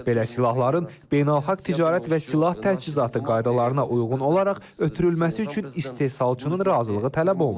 Belə silahların beynəlxalq ticarət və silah təchizatı qaydalarına uyğun olaraq ötürülməsi üçün istehsalçının razılığı tələb olunur.